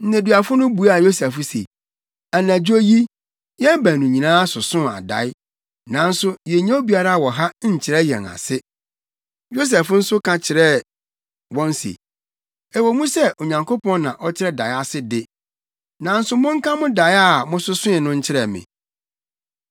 Nneduafo no buaa Yosef se, “Anadwo yi, yɛn baanu nyinaa sosoo adae, nanso yennya obiara wɔ ha nkyerɛ yɛn ase.” Yosef nso ka kyerɛɛ wɔn se, “Ɛwɔ mu sɛ Onyankopɔn na ɔkyerɛ dae ase de, nanso monka mo dae a mososoe no nkyerɛ me.”